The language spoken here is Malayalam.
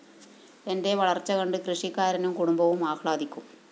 എന്റെ വളര്‍ച്ച കണ്ട് കൃഷിക്കാരനും കുടുംബവും ആഹ്ലാദിക്കും